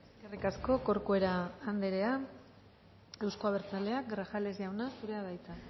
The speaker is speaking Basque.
eskerrik asko corcuera anderea euzko abertzaleak grajales jauna zurea da hitza